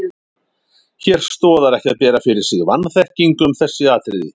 Hér stoðar ekki að bera fyrir sig vanþekkingu um þessi atriði.